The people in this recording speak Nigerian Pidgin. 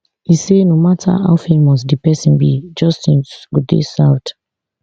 e say no mata how famous di pesin be justice go dey served